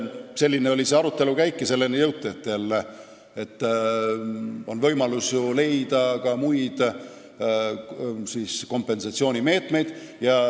Selline oli selle arutelu käik ja jõuti selleni, et on võimalus leida ka muid kompensatsioonimeetmeid.